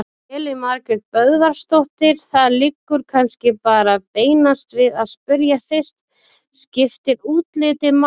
Elín Margrét Böðvarsdóttir: Það liggur kannski bara beinast við að spyrja fyrst: Skiptir útlitið máli?